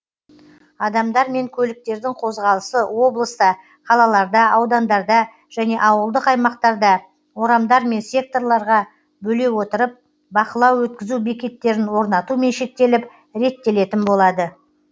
адамдар мен көліктердің қозғалысы облыста қалаларда аудандарда және ауылдық аймақтарда орамдар мен секторларға бөле отырып бақылау өткізу бекеттерін орнатумен шектеліп реттелетін болады